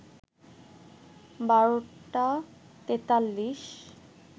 ১২টা ৪৩